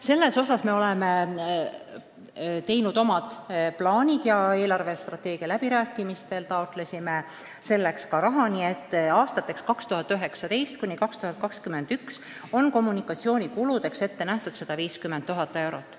Selles osas me oleme oma plaanid teinud ja eelarvestrateegia läbirääkimistel taotlesime selleks ka raha, nii et aastateks 2019–2021 on kommunikatsioonikuludeks ette nähtud 150 000 eurot.